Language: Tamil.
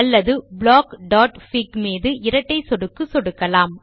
அல்லதுblockfig மீது இரட்டை சொடுக்கு சொடுக்கலாம்